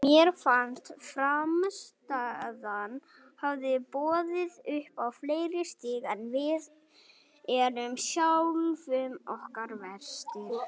Mér fannst frammistaðan hafa boðið upp á fleiri stig en við erum sjálfum okkur verstir.